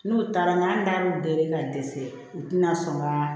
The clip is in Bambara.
N'u taara n'a y'u deli ka dɛsɛ u tɛna sɔn ka